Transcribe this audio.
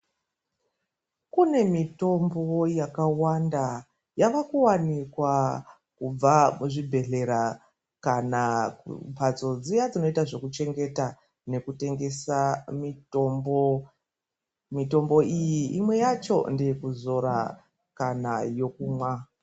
Kune mitombo yakawanda yava kuwanikwa kubva muzvibhedhlera kana kumbatso dziya dzinoita zvekuchengeta nekutengesa mitombo. Mitombo iyi imwe yacho ndeyekuzora kana yokumwa.